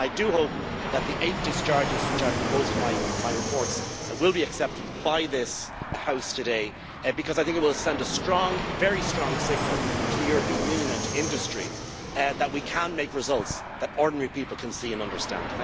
I do hope that the eight discharges which I proposed in my reports will be accepted by this House today, because I think it will send a very strong signal to the European Union and to industry that we can make results that ordinary people can see and understand.